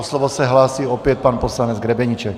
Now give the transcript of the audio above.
O slovo se hlásí opět pan poslanec Grebeníček.